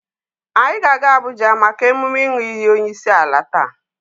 Anyị ga-aga Abuja maka emume ịnụ iyi onyeisiala taa.